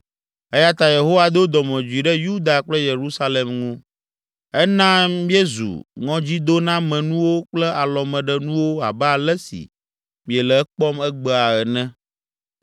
eya ta Yehowa do dɔmedzoe ɖe Yuda kple Yerusalem ŋu. Ena míezu ŋɔdzidonamenuwo kple alɔmeɖenuwo abe ale si miele ekpɔm egbea ene.